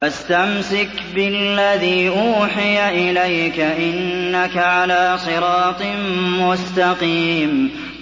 فَاسْتَمْسِكْ بِالَّذِي أُوحِيَ إِلَيْكَ ۖ إِنَّكَ عَلَىٰ صِرَاطٍ مُّسْتَقِيمٍ